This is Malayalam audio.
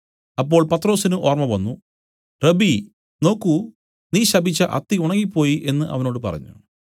അപ്പോൾ പത്രൊസിന് ഓർമ്മ വന്നു റബ്ബീ നോക്കൂ നീ ശപിച്ച അത്തി ഉണങ്ങിപ്പോയി എന്നു അവനോട് പറഞ്ഞു